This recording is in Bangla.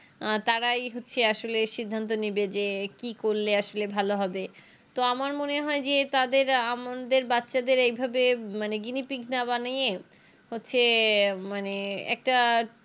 অ্যাঁ তারাই হচ্ছে আসলে সিদ্ধান্ত নেবে যে কি করলে আসলে ভালো হবে তো আমার মনে হয় যে তাদের আমাদের বাচ্চাদের এইভাবে মানে Guinea pig না বানিয়ে হচ্ছে মানে একটা